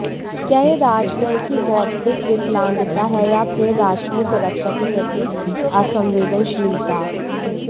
क्या यह राजनय की बौद्धिक विकलांगता है या फिर राष्ट्रीय सुरक्षा के प्रति असंवेदनशीलता